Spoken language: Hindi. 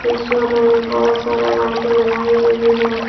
ये शोरूम में बहोत सारा बाइके लगाई गई हैं।